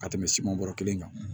Ka tɛmɛ siman bɔrɔ kelen kan